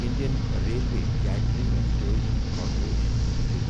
Indian railway catering and tourism corporation limited